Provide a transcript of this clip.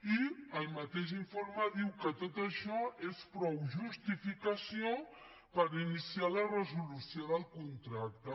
i el mateix informe diu que tot això és prou justificació per iniciar la resolució del contracte